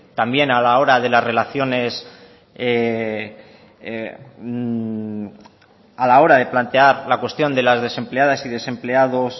también a la hora de las relaciones a la hora de plantear la cuestión de las desempleadas y desempleados